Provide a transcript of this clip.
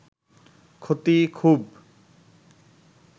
ক্ষতি খুব